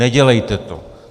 Nedělejte to.